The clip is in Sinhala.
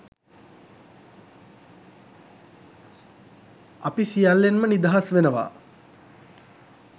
අපි සියල්ලෙන්ම නිදහස් වෙනවා